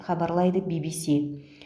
хабарлайды ввс